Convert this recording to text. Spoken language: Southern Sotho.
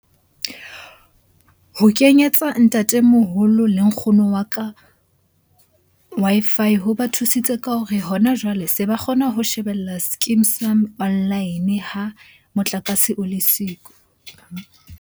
Ho kenyetsa ntatemoholo le nkgono wa ka Wi-Fi ho ba thusitse ka hore hona jwale se ba kgona ho shebella skeem saam online ha motlakase o le siko.